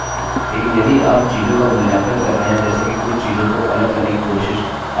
आप इसका उपयोग प्रोजेक्ट्स में फॉर्म को जमा करने के लिए करेंगे अब हम इस ट्यूटोरियल के अंत में आ गये हैं